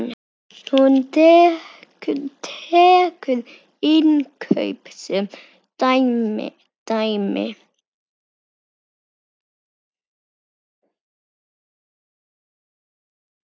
Hún tekur innkaup sem dæmi.